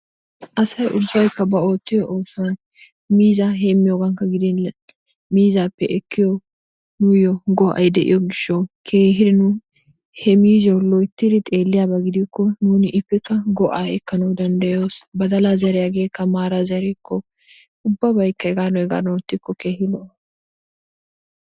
Asay ubbaykka ba oottiyo oosuwan miizzaa heemmiyogankka gidin miizzaappe ekkiyo, miyo go'ay de'iyo gishshawu keehi nu he miizziyo loyttidi xeelliyaba gidikko nuuni ippekka go'aa ekkanawu danddayoos. Badalaa zeriyageekka maara zerikko ubbabaykka hegaadan hegaadan oottikko keehi lo'o.